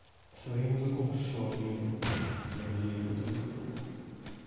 своим языком шаловливым блин я еле этого выговорил